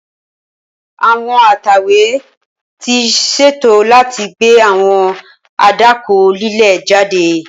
Awọn atẹwe ti ṣeto lati gbe awọn adakọ lile jade.